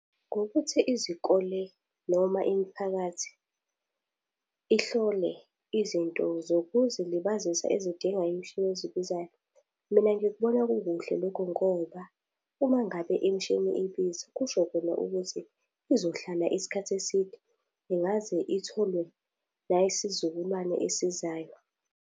Ngokuthi izikole noma imiphakathi, ihlole izinto zokuzilibazisa ezidingwa imishini ezibizayo. Mina ngikubona kukuhle lokho ngoba, uma ngabe imishini ibiza, kusho khona ukuthi izohlala isikhathi eside, ingaze itholwe nayisizukulwane esizayo.